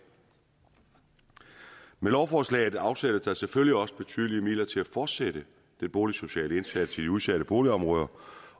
med lovforslaget afsættes der selvfølgelig også betydelige midler til at fortsætte den boligsociale indsats i udsatte boligområder